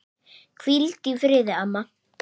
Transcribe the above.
Hvíldu í friði, amma.